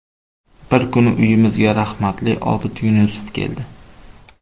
Bir kuni uyimizga rahmatli Obid Yunusov keldi.